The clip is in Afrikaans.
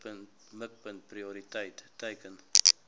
mikpunt prioriteit teiken